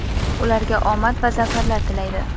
ularga omad va zafarlar tilaydi!.